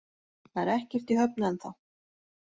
Það er ekkert í höfn ennþá